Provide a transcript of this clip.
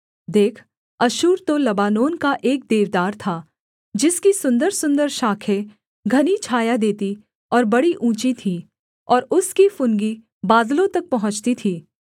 देख अश्शूर तो लबानोन का एक देवदार था जिसकी सुन्दरसुन्दर शाखें घनी छाया देतीं और बड़ी ऊँची थीं और उसकी फुनगी बादलों तक पहुँचती थी